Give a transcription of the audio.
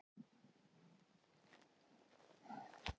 Þetta er skipulagt kaos, eigum við ekki að segja það?